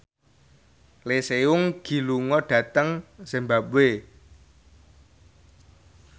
Lee Seung Gi lunga dhateng zimbabwe